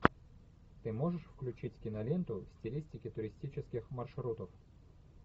ты можешь включить киноленту в стилистике туристических маршрутов